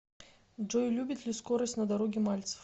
джой любит ли скорость на дороге мальцев